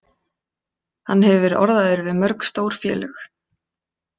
Hann hefur verið orðaður við mörg stór félög.